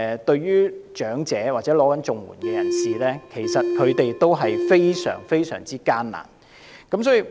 對長者或領取綜援的人士而言，生活真的非常艱難。